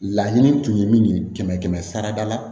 Laɲini tun ye min ye kɛmɛ kɛmɛ sara da la